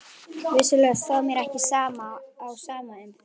Vissulega stóð mér ekki á sama um þig.